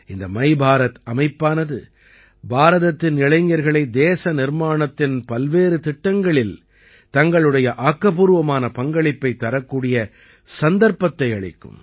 இந்த மைபாரத் அமைப்பானது பாரதத்தின் இளைஞர்களை தேச நிர்மாணத்தின் பல்வேறு திட்டங்களில் தங்களுடைய ஆக்கப்பூர்வமான பங்களிப்பைத் தரக்கூடிய சந்தர்ப்பத்தை அளிக்கும்